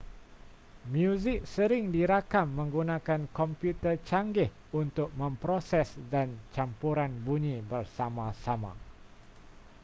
muzik sering dirakam menggunakan komputer canggih untuk memproses dan campuran bunyi bersama-sama